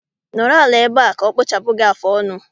Nọrọ ala ebea, ka ọ kpụchapụ gị afụ ọnụ